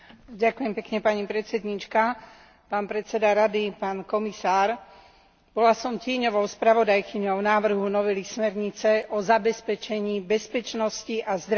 Bola som tieňovou spravodajkyňou návrhu novely smernice o zabezpečení bezpečnosti a zdravia tehotných pracovníčok a pracovníčok, ktoré porodili a dojčia.